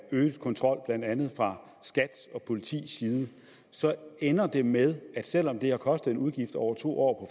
øget kontrol blandt andet fra skats og politiets side så ender det med at selv om det har kostet en udgift over to år